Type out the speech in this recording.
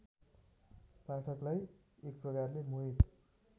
पाठकलाई एकप्रकारले मोहित